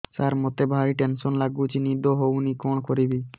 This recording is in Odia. ସାର ମତେ ଭାରି ଟେନ୍ସନ୍ ଲାଗୁଚି ନିଦ ହଉନି କଣ କରିବି